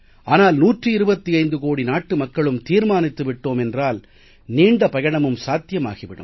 ஆனால் 125 கோடி நாட்டு மக்களும் தீர்மானித்து விட்டோம் என்றால் நீண்ட பயணமும் சாத்தியமாகி விடும்